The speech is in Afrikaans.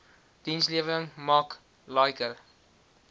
dienslewering mak liker